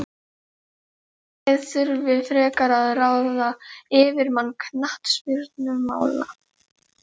Félagið þurfi frekar að ráða yfirmann knattspyrnumála.